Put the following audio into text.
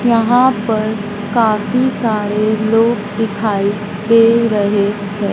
यहां पर काफी सारे लोग दिखाई दे रहे हैं।